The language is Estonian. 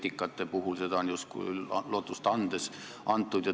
Vetikate puhul on justkui lootust antud.